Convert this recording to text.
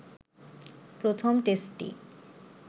প্রথম টেস্টটি